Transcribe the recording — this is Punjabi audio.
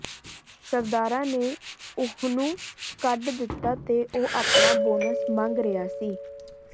ਸਰਦਾਰਾਂ ਨੇ ਉਹਨੂੰ ਕੱਢ ਦਿੱਤਾ ਤੇ ਉਹ ਆਪਣਾ ਬੋਨਸ ਮੰਗ ਰਿਹਾ ਸੀ